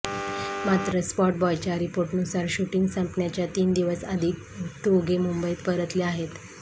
मात्र स्पॉट बॉयच्या रिपोर्टनुसार शूटिंग संपण्याच्या तीन दिवस आधी दोघे मुंबईत परतले आहेत